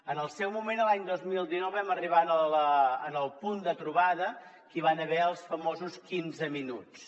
en el seu moment l’any dos mil dinou vam arribar al punt de trobada que hi va haver els famosos quinze minuts